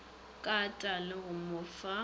kata le go mo fa